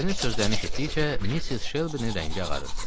Ərinin sözlərini eşitdikcə, Missis Şelbinin rəngi ağarırdı.